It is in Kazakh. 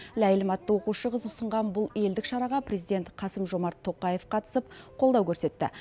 ләйлім атты оқушы қыз ұсынған бұл елдік шараға президент қасым жомарт тоқаев қатысып қолдау көрсетті